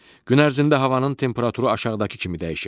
Gün ərzində havanın temperaturu aşağıdakı kimi dəyişir.